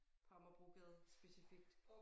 På Amagerbrogade specifikt